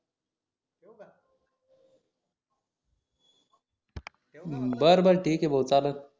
बर बर ठीक हे भाऊ चालन